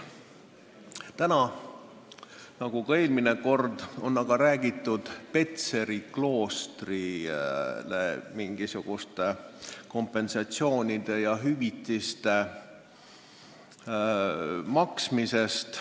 Täna, nagu ka eelmine kord, on aga räägitud Petseri kloostri eest mingisuguste kompensatsioonide maksmisest.